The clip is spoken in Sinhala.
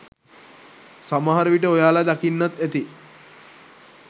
සමහරවිට ඔයාලා දකින්නත් ඇති.